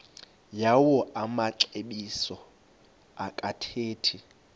yawo amaxesibe akathethi